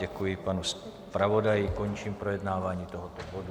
Děkuji panu zpravodaji, končím projednávání tohoto bodu.